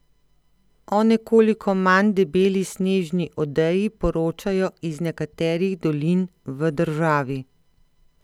O nekoliko manj debeli snežni odeji poročajo iz nekaterih dolin v državi.